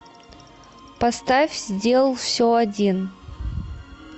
поставь сделал все один